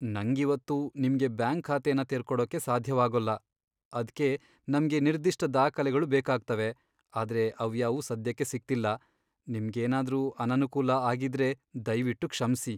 ನಂಗಿವತ್ತು ನಿಮ್ಗೆ ಬ್ಯಾಂಕ್ ಖಾತೆನ ತೆರ್ಕೊಡೋಕೆ ಸಾಧ್ಯವಾಗೋಲ್ಲ. ಅದ್ಕೆ ನಮ್ಗೆ ನಿರ್ದಿಷ್ಟ ದಾಖಲೆಗಳು ಬೇಕಾಗ್ತವೆ, ಆದ್ರೆ ಅವ್ಯಾವೂ ಸದ್ಯಕ್ಕೆ ಸಿಗ್ತಿಲ್ಲ. ನಿಮ್ಗೇನಾದ್ರೂ ಅನನುಕೂಲ ಆಗಿದ್ರೆ ದಯ್ವಿಟ್ಟು ಕ್ಷಮ್ಸಿ.